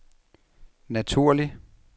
naturlig